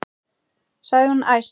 sagði hún æst.